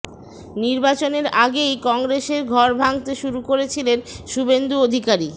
নির্বাচনের আগেই কংগ্রেসের ঘর ভাঙতে শুরু করেছিলেন শুভেন্দু অধিকারী